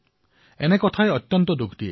এই কথা শুনি মই অত্যন্ত দুখ পাইছো